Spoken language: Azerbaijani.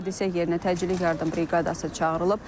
Hadisə yerinə təcili yardım briqadası çağırılıb.